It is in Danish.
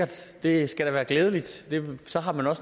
så det er